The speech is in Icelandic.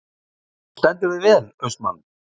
Þú stendur þig vel, Austmann!